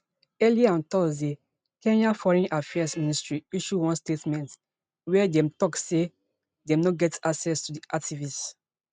earlier on thursday kenya foreign affairs ministry issue one statement wia dem tok say dem no get access to di activist